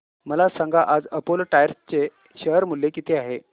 मला सांगा आज अपोलो टायर्स चे शेअर मूल्य किती आहे